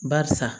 Barisa